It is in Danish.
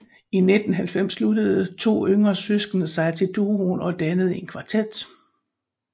I 1990 sluttede de to yngre søskende sig til duoen og dannede en kvartet